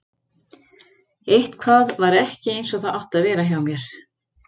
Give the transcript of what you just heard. Eitthvað var ekki eins og það átti að vera hjá mér.